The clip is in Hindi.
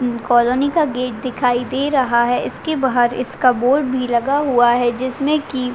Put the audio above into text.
कॉलनी का गेट दिखाई दे रहा है इसके बहार इसका बोर्ड भी लगा हुआ है जिसमे की --